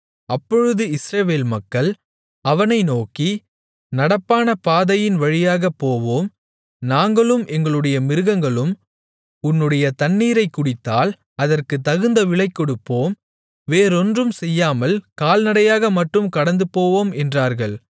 அப்பொழுது இஸ்ரவேல் மக்கள் அவனை நோக்கி நடப்பான பாதையின் வழியாகப் போவோம் நாங்களும் எங்களுடைய மிருகங்களும் உன்னுடைய தண்ணீரைக் குடித்தால் அதற்குக் தகுந்த விலைகொடுப்போம் வேறொன்றும் செய்யாமல் கால்நடையாக மட்டும் கடந்துபோவோம் என்றார்கள்